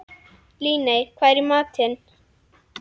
Líney, hvað er í matinn?